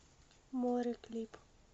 море клип